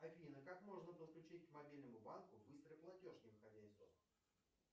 афина как можно подключить к мобильному банку быстрый платеж не выходя из дома